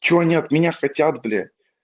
что они от меня хотят бля